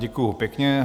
Děkuji pěkně.